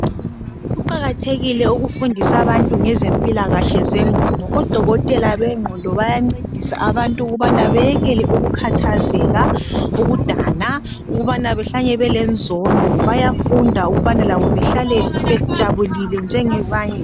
Kuqakathekile ukufundisa abantu ngezempilakahle zengqondo. ODokotela bengqondo bayancedisa abantu ukubaba beyele ukukhathazeka bayekele ukudana, ukubana bahlale belenzondo. Bayafunda ukubana behlale bejabulile ngengabanye.